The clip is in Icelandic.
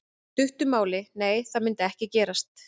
Í stuttu máli: Nei það myndi ekki gerast.